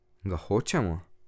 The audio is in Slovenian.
Ga hočemo?